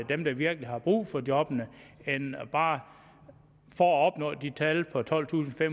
dem der virkelig har brug for jobbene bare for at opnå de tal på tolvtusinde